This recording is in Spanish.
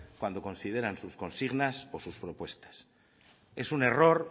cuando consideran sus consignas o sus propuestas es un error